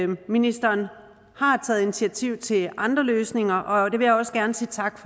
ministeren har taget initiativ til andre løsninger og det vil jeg også gerne sige tak